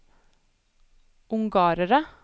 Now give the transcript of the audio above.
ungarere